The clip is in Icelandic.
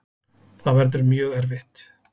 Það verður mjög erfitt.